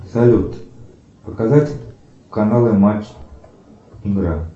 салют показать каналы матч игра